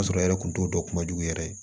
O y'a sɔrɔ e yɛrɛ kun t'o dɔn kumajugu yɛrɛ